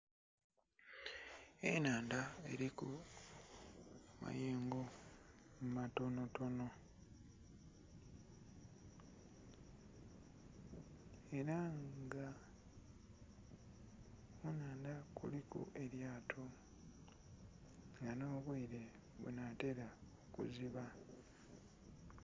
Enhandha eriku amayengo amatonho tonho era nga ku nhandha kuliku elyato nga nho bweire bunatera okuziba.